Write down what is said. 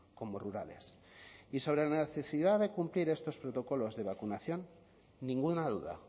como rurales y sobre la necesidad de cumplir estos protocolos de vacunación ninguna duda